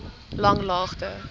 langlaagte